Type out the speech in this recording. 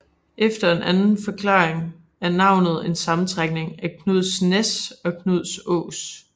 Efter en anden forklaring er navnet en sammentrækning af Knuds Næs eller Knuds Ås